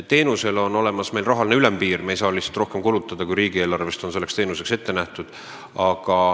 Teenusele on meil kehtestatud rahaline ülempiir, st me ei saa kulutada rohkem, kui riigieelarves on selleks teenuseks ette nähtud.